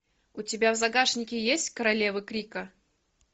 у тебя в загашнике есть королевы крика